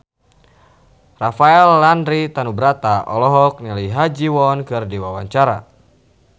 Rafael Landry Tanubrata olohok ningali Ha Ji Won keur diwawancara